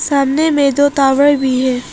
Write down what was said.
सामने में दो टावर भी है।